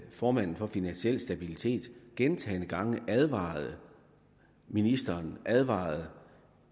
formanden for finansiel stabilitet gentagne gange advarede ministeren advarede